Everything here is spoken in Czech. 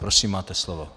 Prosím, máte slovo.